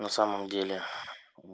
на самом деле